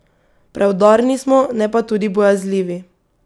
Preudarni smo, ne pa tudi bojazljivi.